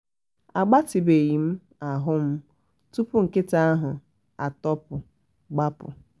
agbatịbeghi ahụ m tupu nkịta ahụ atopu gbapu